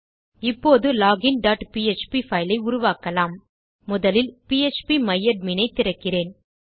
இப்போது login dot PHP file ஐ உருவாக்கலாம் முதலில் பிஎச்பி மை அட்மின் ஐ திறக்கிறேன்